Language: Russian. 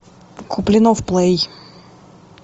куплинов плей